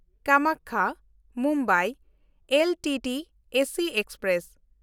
ᱠᱟᱢᱟᱠᱠᱷᱟ–ᱢᱩᱢᱵᱟᱭ LTT AC express